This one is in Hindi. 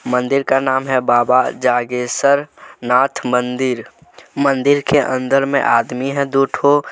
मंदिर का नाम है बाबा जागेसर नाथ मंदिर मंदिर के अंदर मे आदमी है दो ठो।